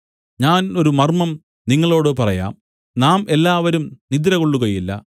ഞാൻ ഒരു മർമ്മം നിങ്ങളോട് പറയാം നാം എല്ലാവരും നിദ്രകൊള്ളുകയില്ല